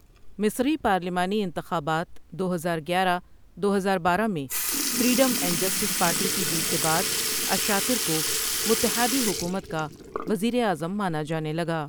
مصری پارلیمانی انتخابات، دو ہزار گیارہ دو ہزار بارہ میں فریڈم اینڈ جسٹس پارٹی کی جیت کے بعد الشاطر کو متحادی حکومت کا وزیر اعظم مانا جانے لگا۔